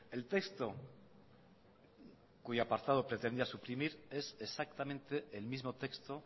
el texto cuyo apartado pretendía suprimir es exactamente el mismo texto